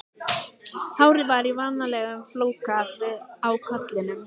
Hárið var í vanalegum flóka á kollinum.